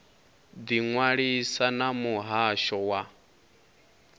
ḓi ṅwalisa na muhasho wa